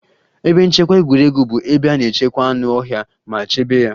Ebe nchekwa egwuregwu bụ ebe a na-echekwa anụ ọhịa ma chebe ya